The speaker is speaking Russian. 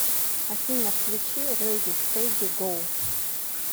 афина включи рэди стэди гоу